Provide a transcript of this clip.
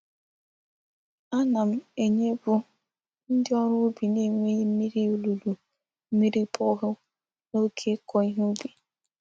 Ana m enyepu ndi órú ubi n'enweghi mmiri olulu mmiri bore hole n'oge iko ihe ubi.